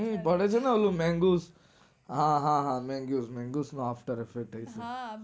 પડે છે ને ઓલું manguse હા હા હા manguse manguse નો થાય શકે છે